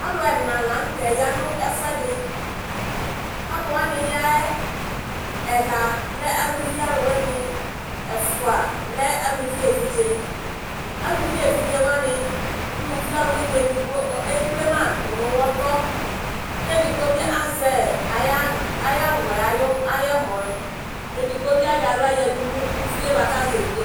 Alu ɛna ya nye ya nu ɛfɔeɖi aluwaŋi yaɛ ela lɛ aluʋi aluwaŋi eƒua lɛ aluʋi eʋiɖze ɛluʋi eʋiɖzewa ŋi uluʋi ɔliwuŋi eɖigbo ekplema ɖunu uŋɔtɔ ku eɖigbɔ bi azɛ ayi awu ayiamuɛ eɖigbɔ bi aŋɔ aŋla ɖunu uʋiɛba ka zɛ eʋiɖzewa ŋi